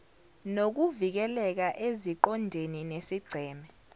nokuvikeleka eziqondene nesigceme